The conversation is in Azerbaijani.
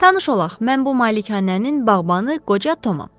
Tanış olaq, mən bu malikanənin bağbanı qoca Tomam.